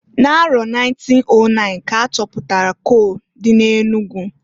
N'arọ 1909 k'a chapụtalụ kol dị n'Enugu.